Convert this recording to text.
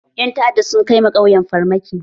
Ƴan ta'adda sun kai wa ƙauyen farmaki.